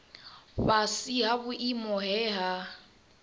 fhasi ha vhuimo he ha